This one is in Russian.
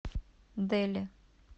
дели